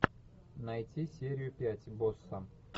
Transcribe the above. найти серию пять босса